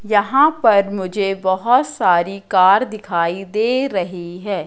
यहां पर मुझे बहोत सारी कार दिखाई दे रही है।